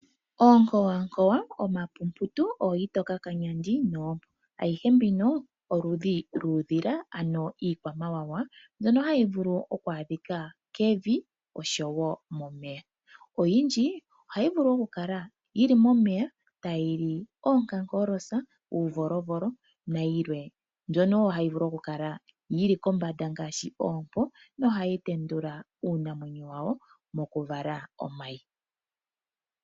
Oonkowankowa, omapumputu, ooamutokakanyandi noompo ayihe mbino oludhi luudhila ano iikwamawawa mbyono hayi vulu oku adhika kevi oshowo momeya. Oyindji ohayi vulu okukala yi li momeya tayi li oonkankolotsa, uuvolovolo nayilwe. Mbyono wo hayi vulu kala yi li kombanda ngaashi oompo nohayi tendula uunamwenyo wawo mokuvala omayi.